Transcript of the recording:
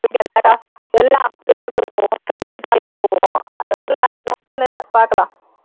பாக்கலாம்